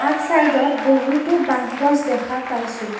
আগ চাইড ত বহুতো বাঁহ গছ দেখা পাইছোঁ।